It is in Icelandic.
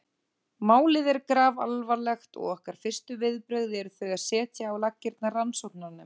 Málið er grafalvarlegt og okkar fyrstu viðbrögð eru þau að setja á laggirnar rannsóknarnefnd.